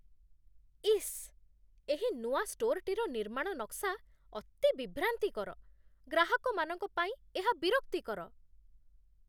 ଇସ୍, ଏହି ନୂଆ ଷ୍ଟୋର୍‌ଟିର ନିର୍ମାଣ ନକ୍ସା ଅତି ବିଭ୍ରାନ୍ତିକର। ଗ୍ରାହକମାନଙ୍କ ପାଇଁ ଏହା ବିରକ୍ତିକର।